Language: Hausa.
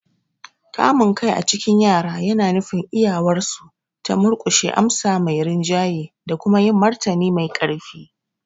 Kamun kai a cikin yara yana nufin iyawarsu ta murkushe amsa mai rinjaye da kuma yin martani mai ƙarfi.